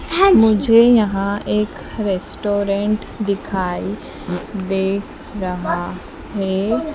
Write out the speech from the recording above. मुझे यहां एक रेस्टोरेंट दिखाई दे रहा है।